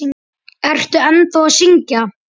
Ertu ennþá að syngja?